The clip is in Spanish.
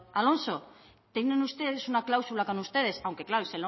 alonso tengan ustedes una cláusula con ustedes aunque claro